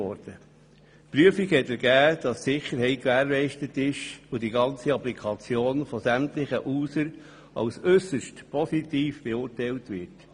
Die Prüfung hat ergeben, dass die Sicherheit gewährleistet ist und die ganze Applikation von sämtlichen Usern als äusserst positiv beurteilt wird.